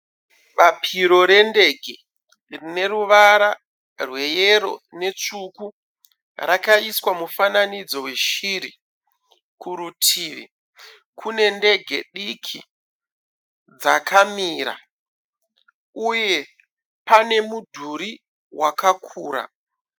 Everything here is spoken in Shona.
Bapiro rendege rine ruvara rweyero nerutsvuku rakaiswa mufananidzo weshiri, kurutivi pane ndege dzakamira, uye pane mudhuri wakakura.